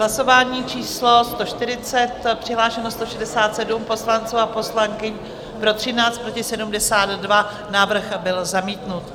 Hlasování číslo 140, přihlášeno 167 poslanců a poslankyň, pro 13, proti 72, návrh byl zamítnut.